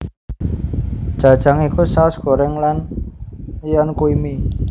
Jajang iku saos goreng lan myeon kui mie